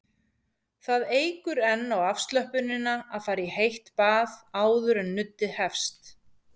Það eykur enn á afslöppunina að fara í heitt bað áður en nuddið hefst.